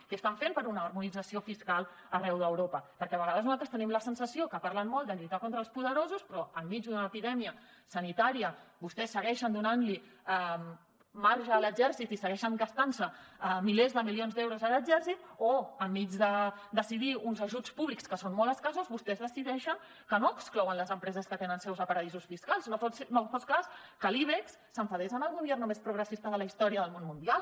què estan fent per una harmonització fiscal arreu d’europa perquè a vegades nosaltres tenim la sensació que parlen molt de lluitar contra els poderosos però enmig d’una epidèmia sanitària vostès segueixen donant li marge a l’exèrcit i segueixen gastant se milers de milions d’euros en l’exèrcit o enmig de decidir uns ajuts públics que són molt escassos vostès decideixen que no exclouen les empreses que tenen seus a paradisos fiscals no fos cas que l’ibex s’enfadés amb el gobierno més progressista de la història del món mundial